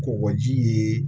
Kɔkɔji ye